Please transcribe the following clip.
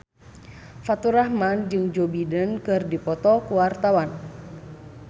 Faturrahman jeung Joe Biden keur dipoto ku wartawan